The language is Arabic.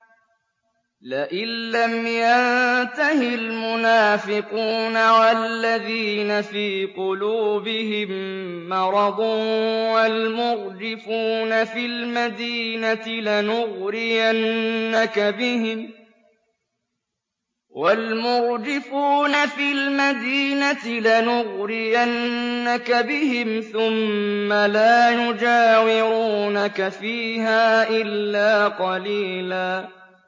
۞ لَّئِن لَّمْ يَنتَهِ الْمُنَافِقُونَ وَالَّذِينَ فِي قُلُوبِهِم مَّرَضٌ وَالْمُرْجِفُونَ فِي الْمَدِينَةِ لَنُغْرِيَنَّكَ بِهِمْ ثُمَّ لَا يُجَاوِرُونَكَ فِيهَا إِلَّا قَلِيلًا